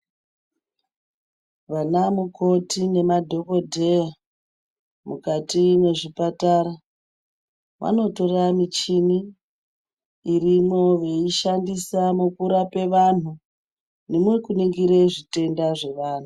Vana mukoti nemadhokodheya mukati mwezvipatara vanotora michini irimwo veishandisa mukurape vanhu nemukuningire zvitenda zvevanhu.